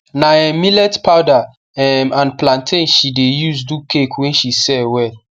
na um millet powder um and plantain she de use do cake wey she sell well